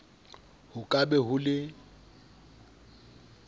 ho ka be ho le